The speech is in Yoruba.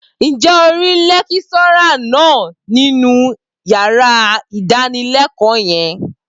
Ǹjẹ́ o rí lẹ́kíṣọ́rà náà nínú yàrá ìdánilẹ́kọ̀ọ́ yẹn?